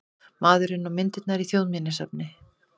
Maðurinn og myndirnar í Þjóðminjasafni